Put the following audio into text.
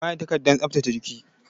Ka yi amfani da takardar tsaftace jikin!